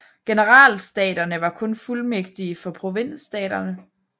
Generalstaterne var kun fuldmægtige for provinsstaterne